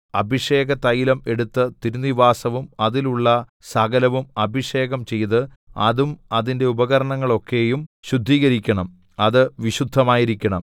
അഭിഷേകതൈലം എടുത്ത് തിരുനിവാസവും അതിലുള്ള സകലവും അഭിഷേകം ചെയ്ത് അതും അതിന്റെ ഉപകരണങ്ങളൊക്കെയും ശുദ്ധീകരിക്കണം അത് വിശുദ്ധമായിരിക്കണം